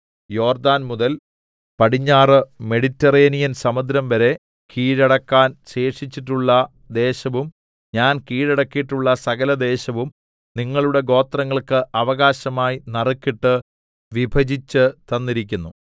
യോർദ്ദാൻ മുതൽ പടിഞ്ഞാറ് മെഡിറ്ററേനിയൻ സമുദ്രംവരെ കീഴടക്കാൻ ശേഷിച്ചിട്ടുള്ള ദേശവും ഞാൻ കീഴടക്കീട്ടുള്ള സകല ദേശവും നിങ്ങളുടെ ഗോത്രങ്ങൾക്ക് അവകാശമായി നറുക്കിട്ട് വിഭജിച്ച് തന്നിരിക്കുന്നു